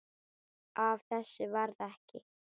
Af þessu varð ekki.